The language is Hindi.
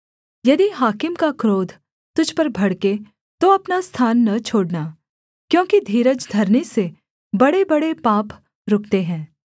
यदि हाकिम का क्रोध तुझ पर भड़के तो अपना स्थान न छोड़ना क्योंकि धीरज धरने से बड़ेबड़े पाप रुकते हैं